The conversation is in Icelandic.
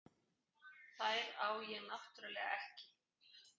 Þær á ég náttúrlega ekki.